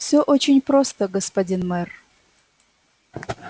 всё очень просто господин мэр